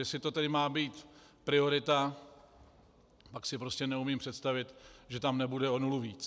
Jestli to tedy má být priorita, pak si prostě neumím představit, že tam nebude o nulu víc.